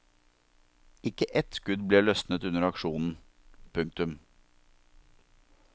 Ikke ett skudd ble løsnet under aksjonen. punktum